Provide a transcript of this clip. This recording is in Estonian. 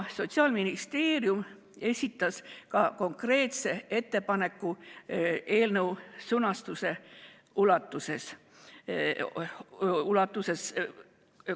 Sotsiaalministeerium esitas ka konkreetse ettepaneku eelnõu sõnastuse kogu ulatuses.